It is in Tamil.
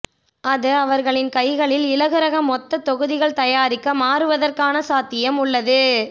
அது அவர்களின் கைகளில் இலகுரக மொத்தத் தொகுதிகள் தயாரிக்க மாறுவதற்கான சாத்தியம் உள்ளது